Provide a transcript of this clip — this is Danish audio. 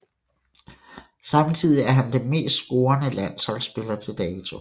Samtidig er han den mest scorende landsholdsspiller til dato